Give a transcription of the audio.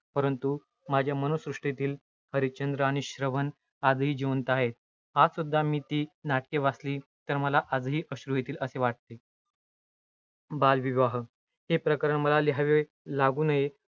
परंतु माझ्या मनःसृष्टीत हरिश्चंद्र आणि श्रवण आजही जिवंत आहेत. आजसुद्धा मी ती. नाटके वाचली, तर आजही मला अश्रू येतील असे वाटते. बालविवाह. हे प्रकरण मला लिहावे लागू नये